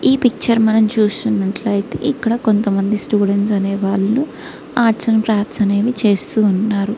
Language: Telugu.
ఈ పిక్చర్ మనం చూసినట్లయితే ఇక్కడ కొంతమంది స్టూడెంట్స్ అనే వాళ్ళు ఆర్ట్స్ అండ్ గ్రాఫ్స్ అనేవి చేస్తూ ఉన్నారు.